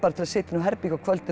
til að sitja inni á herbergi á kvöldin